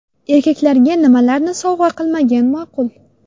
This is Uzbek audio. Erkaklarga nimalarni sovg‘a qilmagan ma’qul?.